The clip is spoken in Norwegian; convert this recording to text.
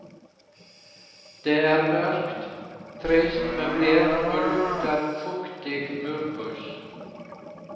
Det er mørkt, trist møblert og lukter fuktig murpuss.